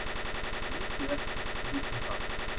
Það er mikið eftir, við vitum það.